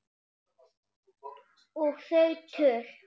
Og þau töl